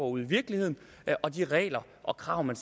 ude i virkeligheden og de regler og krav man